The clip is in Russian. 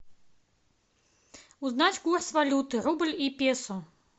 узнать курс валюты рубль и песо